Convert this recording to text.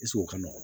o ka nɔgɔn